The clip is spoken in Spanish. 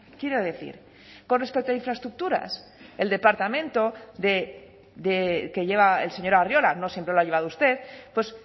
quiero decir con respecto a infraestructuras el departamento que lleva el señor arriola no siempre lo ha llevado usted pues